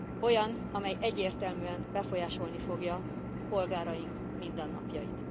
Olyan, amely egyértelműen befolyásolni fogja polgáraink mindennapjait.